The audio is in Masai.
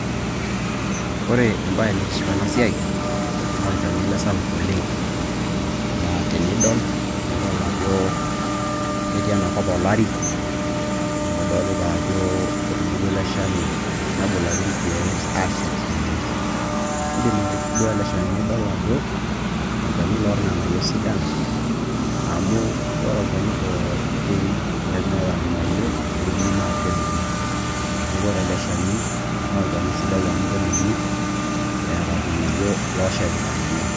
Olchani ele sapuk oleng', laa tenidol nidol ajo ketii ena kop olari, amu etubulua ele shani nebulaki irkiek aashep ninye. Olchani ele loorng'aniyio sidan, amu ore olchani pooki lemeeta irng'anayio, neji naa kedung'i. Olchani sidai amu kedung'i eeta irng'anayio ooshepita ninye.